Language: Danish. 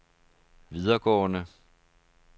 videregående